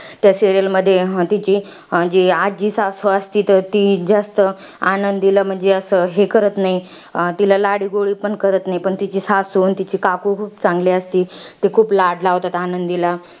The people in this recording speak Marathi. त्या serial मध्ये तिची, आजी आजी सासू असती तर तीच जास्त आनंदीला म्हंजी असं, हे करत नाही. तिला लाडीगोडी पण करत नाही. पण तिची सासू आणि तिची काकू, खूप चांगली असती. ती खूप लाड लावतात आनंदीला.